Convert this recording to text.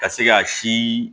Ka se ka si